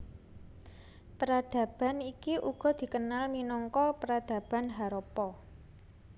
Peradaban iki uga dikenal minangka Peradaban Harappa